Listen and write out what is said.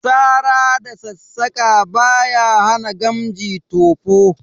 Sara da sassaƙa ba sa hana gamji tofo